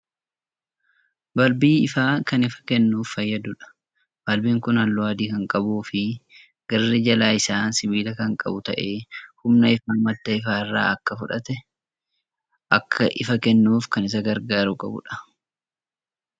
Balbii ifaa Kan ifa kennuuf fayyadduudha. balbiin Kuni halluu adii Kan qabuufi garri Jala Isaa sibiila Kan qabu ta'ee humna ifaa madda ifaarraa Akka fudhatee Akka ifa kennuuf Kan Isa gargaaru qaba.